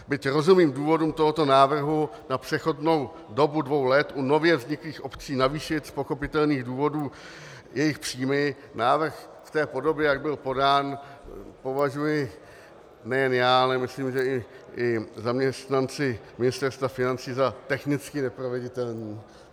Byť rozumím důvodům tohoto návrhu na přechodnou dobu dvou let u nově vzniklých obcí navýšit z pochopitelných důvodů jejich příjmy, návrh v té podobě, jak by podán, považuji nejen já, ale myslím, že i zaměstnanci Ministerstva financí za technicky neproveditelný.